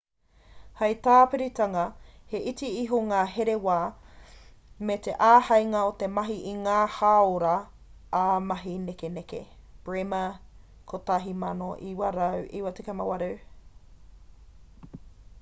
hei tāpiritanga he iti iho ngā here wā me te āheinga o te mahi i ngā hāora ā-mahi nekeneke. bremer 1998